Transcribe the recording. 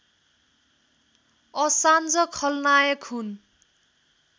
Assange खलनायक हुन्